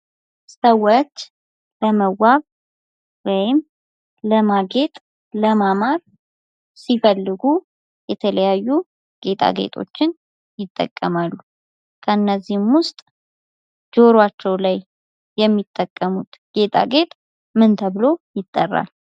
ሰዎች ለመዋብ ወይም ለማጌጥ፣ ለማማር ሲፈልጉ የተለያዩ ጌጣጌጦችን ይጠቀማሉ። ከነዚህም ውስጥ ጆሯቸው ላይ የሚጠሙት ጌጣጌጥ ምን ተብሎ ይጠራል?